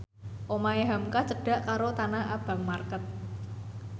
omahe hamka cedhak karo Tanah Abang market